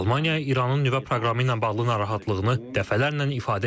Almaniya İranın nüvə proqramı ilə bağlı narahatlığını dəfələrlə ifadə edib.